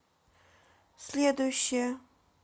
следующая